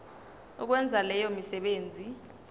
ukwenza leyo misebenzi